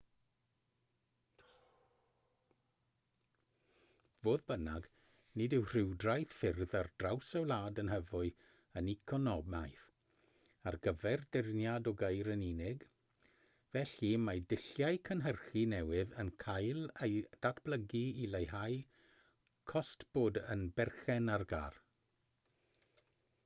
fodd bynnag nid yw rhwydwaith ffyrdd ar draws y wlad yn hyfyw yn economaidd ar gyfer dyrniad o geir yn unig felly mae dulliau cynhyrchu newydd yn cael eu datblygu i leihau cost bod yn berchen ar gar